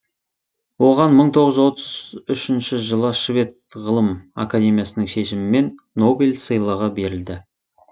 оған мың тоғыз жүз отыз үшінші жылы швед ғылым академиясының шешімімен нобель сыйлығы берілді